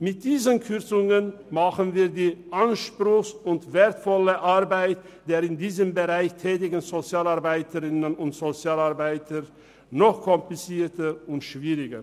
Mit diesen Kürzungen wird die anspruchsvolle und wertvolle Arbeit der in diesem Bereich tätigen Sozialarbeiterinnen und Sozialarbeiter noch komplizierter und schwieriger.